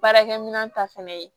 Baarakɛminɛn ta fɛnɛ ye